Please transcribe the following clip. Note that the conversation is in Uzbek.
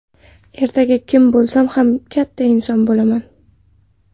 Ertaga kim bo‘lsam ham katta inson bo‘laman.